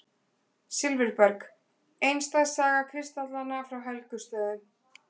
Silfurberg: einstæð saga kristallanna frá Helgustöðum.